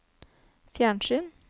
fjernsyn